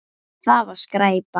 Það var skræpa.